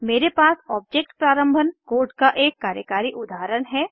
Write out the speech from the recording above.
मेरे पास ऑब्जेक्ट प्रारंभन कोड का एक कार्यकारी उदाहरण है